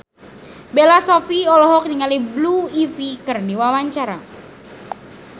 Bella Shofie olohok ningali Blue Ivy keur diwawancara